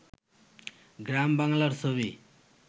গ্রাম বাংলার ছবি